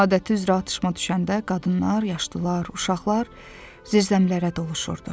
Adəti üzrə atışma düşəndə qadınlar, yaşlılar, uşaqlar zirzəmilərə doluşurdu.